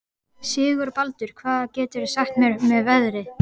Sigurbaldur, hvað geturðu sagt mér um veðrið?